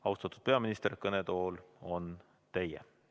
Austatud peaminister, kõnetool on teie.